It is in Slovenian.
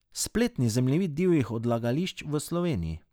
Spletni zemljevid divjih odlagališč v Sloveniji.